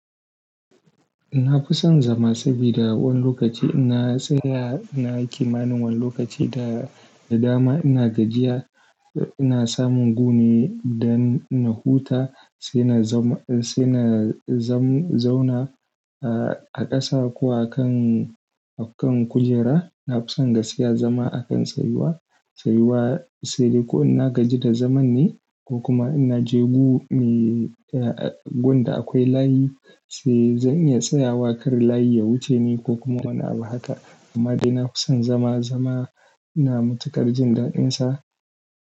Na fi son zama sabida wani lokaci ina tsaya ina yi kimanin wani lokaci da, da dama ina gajiya, ina samun guri indan na huta sai na zauna a ƙasa ko a kan, a kan kujera. Na fi son gaskiya zama a kan tsayuwa, tsayuwa sai dai ko ina gaji da zaman ne ko kuma ina je gun da akwai layi sai zan iya tsayawa kar layi ya wuce ni ko kuma wani abu haka. Amma dai na fi son zama zama ina matukar jin daɗinsa.